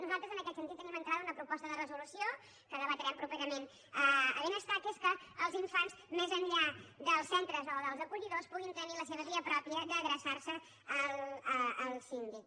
nosaltres en aquest sentit tenim entrada una proposta de resolució que debatrem properament a benestar que és que els infants més enllà dels centres o dels acollidors puguin tenir la seva via pròpia d’adreçar se al síndic